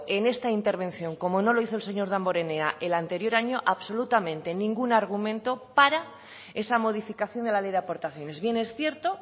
en esta intervención como no lo hizo el señor damborenea el anterior año absolutamente ningún argumento para esa modificación de la ley de aportaciones bien es cierto